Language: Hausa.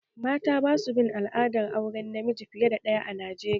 Mata basu bin al'adar auren namiji fiye da daya a Najeriya